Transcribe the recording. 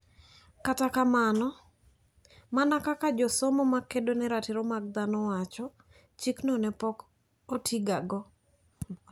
Kata kamano, mana kaka josomo ma kedo ne ratiro mag dhano wacho, chikno ne pok otigago.